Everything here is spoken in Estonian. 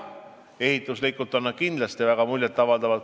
Jah, ehituslikult on need kindlasti väga muljet avaldavad.